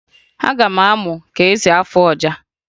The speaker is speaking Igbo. Aga m amụ ka esi afụ ọja